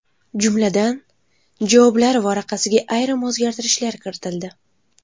Jumladan, javoblar varaqasiga ayrim o‘zgartirishlar kiritildi.